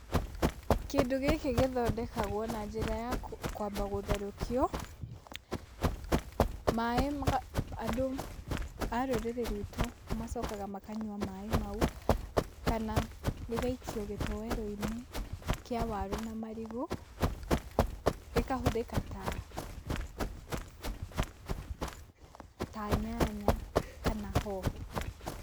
Kĩndũ gĩkĩ gĩthondekagwo na njĩra ya kwamba gũtherũkio, maĩ. andũ a rũrĩrĩ ruitũ macokaga makanyua maĩ mau kana gĩgaikio gĩtowero-inĩ kia waru na marigũ, gĩkahũthĩka ta ta nyanya kana hoho.